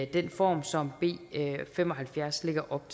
den form som b fem og halvfjerds lægger op